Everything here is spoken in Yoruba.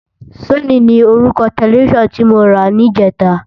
Sónì ni órúkò tèlèfisán ti mó rá nijètá